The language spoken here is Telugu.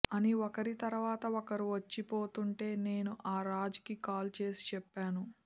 అని ఒకరి తర్వాత ఒకరు వచ్చి పోతుంటే నేను ఆ రాజ్ కి కాల్ చేసి చెప్పాను